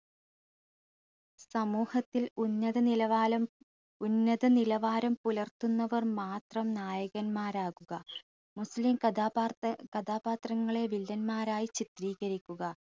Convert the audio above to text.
സമൂഹത്തിൽ ഉന്നത നിലകാലം ഉന്നത നിലവാരം പുലർത്തുന്നവർ മാത്രം നായകന്മാരാകുക മുസ്ലിം കഥാപാർത കഥാപാത്രങ്ങളെ വില്ലന്മാരായി ചിത്രീകരിക്കുക